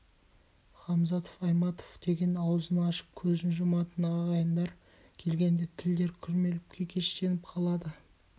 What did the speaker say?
ғамзатов айтматов деп аузын ашып көзін жұматын ағайындар келгенде тілдер күрмеліп кекештеніп қалады